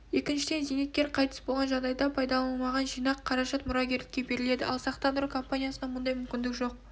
екіншіден зейнеткер қайтыс болған жағдайдағы пайдаланылмаған жинақ қаражат мұрагерлікке беріледі ал сақтандыру компаниясында мұндай мүмкіндік жоқ